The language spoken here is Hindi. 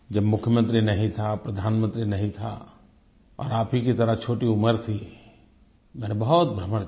जब मुख्यमंत्री नहीं था प्रधानमंत्री नहीं था और आपकी ही तरह छोटी उम्र थी मैंने बहुत भ्रमण किया